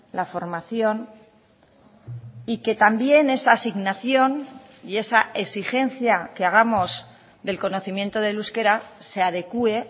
la formación y que también esa asignación y esa exigencia que hagamos del conocimiento del euskera se adecue